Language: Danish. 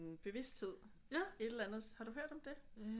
Bevidsthed et eller andet har du hørt om det